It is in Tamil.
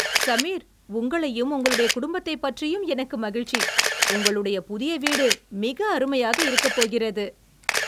சமீர், உங்களையும் உங்களுடைய குடும்பத்தைப் பற்றியும் எனக்கு மகிழ்ச்சி. உங்களுடைய புதிய வீடு மிக அருமையாக இருக்கப் போகிறது.